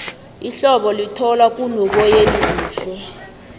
ihlobo lithoma kunoboyeni kuhle